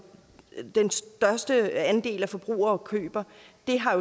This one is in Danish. den største andel af forbrugerne køber